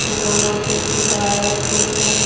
जहाँ पे गिटार रखे हुए हैं।